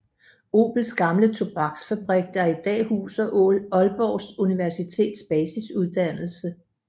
Obels gamle tobaksfabrik der i dag huser Aalborg Universitets basisuddannelse